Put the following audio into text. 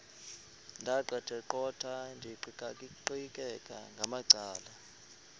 ndaqetheqotha ndiqikaqikeka ngamacala